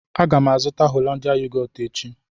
Aga m azụta Hollandia yogọọtu echi